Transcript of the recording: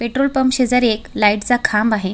Petrol pump शेजारी एक लाइटचा खांब आहे.